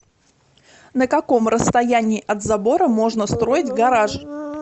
на каком расстоянии от забора можно строить гараж